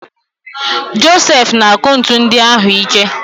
Josef na-akụ ntu ndị ahụ ike.